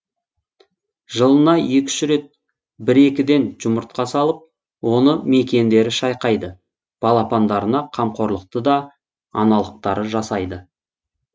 жылына екі үш рет бір екіден жұмыртқа салып оны мекиендері шайқайды балапандарына қамқорлықты да аналықтары жасайды